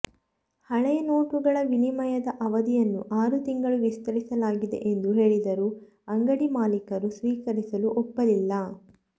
ಹಳೆಯ ನೋಟುಗಳ ವಿನಿಮಯದ ಅವಧಿಯನ್ನು ಆರು ತಿಂಗಳು ವಿಸ್ತರಿಸಲಾಗಿದೆ ಎಂದು ಹೇಳಿದರೂ ಅಂಗಡಿ ಮಾಲೀಕರು ಸ್ವೀಕರಿಸಲು ಒಪ್ಪಲಿಲ್ಲ